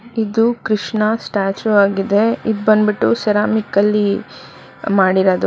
ಇದು ಕೃಷ್ಣ ಸ್ಟಾಚ್ಯು ಆಗಿದೆ ಇದ್ ಬಂದ್ಬಿಟ್ಟು ಸೆರಾಮಿಕ್ ಅಲ್ಲಿ ಮಾಡಿರದು.